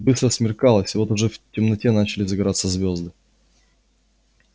быстро смеркалось вот уже в темноте начали загораться звёзды